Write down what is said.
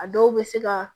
A dɔw bɛ se ka